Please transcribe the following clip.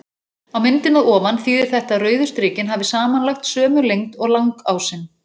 Á myndinni að ofan þýðir þetta að rauðu strikin hafi samanlagt sömu lengd og langásinn.